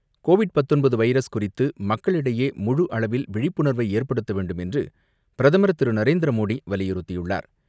Covid பத்தொன்பது virus குறித்து மக்களிடையே முழு அளவில் விழிப்புணர்வை ஏற்படுத்த வேண்டும் என்று பிரதமர் திரு நரேந்திர மோடி வலியுறுத்தியுள்ளார்.